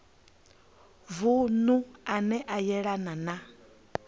vunu ane a yelana na